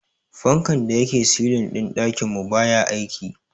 Fankan da yake silin din dakin mu baya aiki.